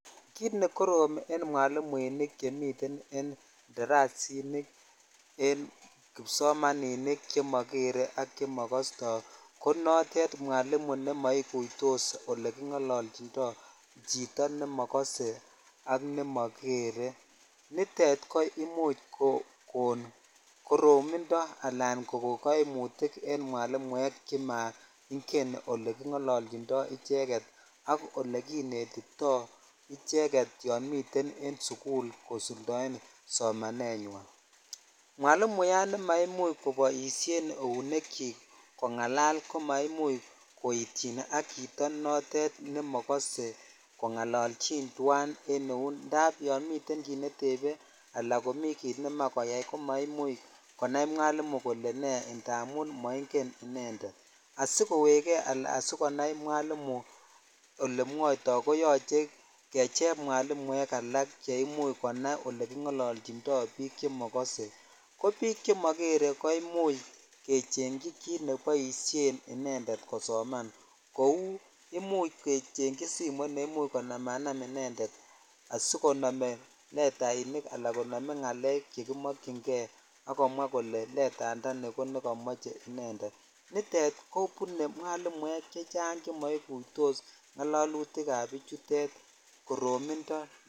Kit nekorom en mwalinuinikchemiten en darasinik en kipsomaninik chemokere ak chemokotoi ko notet mwalimu ne mokutos ole kingolochindoi chito nemokostoi ak nemokere nitet komuch kokon koromindo alan kokon kaimutik en mwalinuinik che moiken ole kingolochidoi icheget ak ole kibetitoi ich6yon miten sukul kosuldoen somane nywan mwalimuyat ne maimuche kobishen eunikchi kongalal ak chito notet nemokose kongolochin ak eut indap yon miten kit netepe ala yan mii kit nemoe ko maimuch konai mwalimu indamun mongen inended asikowekei ala asikonai mwalimu olemwoitoi koyoche kecheng mwalinuek alak che imuch konai olekingolochindoi bik chemokose ko bik chemokere ko imuch chengechi tukuk cheboishen icheget kosoman ko imuch kecheng chi simoit neimuch konamanam inended asikome letainik ala ngalek sikomwoe kole letayandani ko nekomoche inended nitet kobune mwalimuek chechang chemaikutos ngalalutuk ab bichutet koramindo.